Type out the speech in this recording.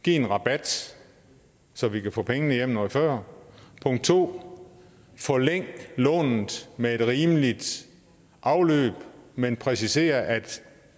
give en rabat så vi kan få pengene hjem noget før 2 forlænge lånet med et rimeligt afløb men præcisere at